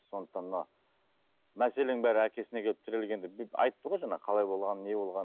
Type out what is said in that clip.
сондықтан мына мәселенің бәрі әкесіне келіп тірелгенде айтты ғой жаңа қалай болғанын қалай болғанын не болғанын